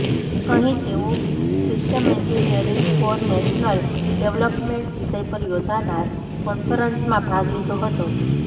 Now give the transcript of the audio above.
અહીં તેઓ system engineering for national development વિષય પર યોજાનાર કોન્ફરન્સમાં ભાગ લીધો હતો